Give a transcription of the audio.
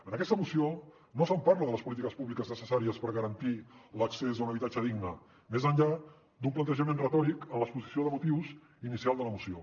en aquesta moció no se’n parla de les polítiques públiques necessàries per garantir l’accés a un habitatge digne més enllà d’un plantejament retòric en l’exposició de motius inicial de la moció